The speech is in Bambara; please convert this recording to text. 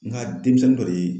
N ka denmisɛnnin dɔ de ye